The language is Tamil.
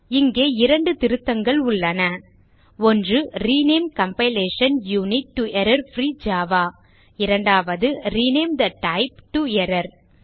இங்கே 2 திருத்தங்கள் உள்ளன ஒன்று rename compilation unit to error free Java இரண்டாவது rename the type to error